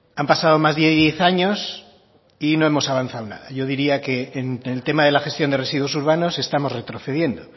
han pasado más de diez años y no hemos avanzado yo diría que en el tema de la gestión de residuos urbanos estamos retrocediendo